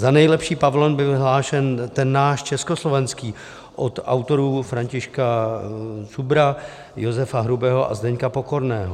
Za nejlepší pavilon byl vyhlášen ten náš, československý, od autorů Františka Šubra, Josefa Hrubého a Zdeňka Pokorného.